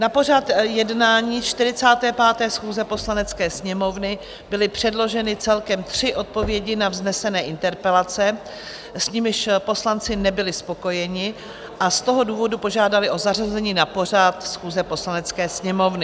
Na pořad jednání 45. schůze Poslanecké sněmovny byly předloženy celkem tři odpovědi na vznesené interpelace, s nimiž poslanci nebyli spokojeni, a z toho důvodu požádali o zařazení na pořad schůze Poslanecké sněmovny.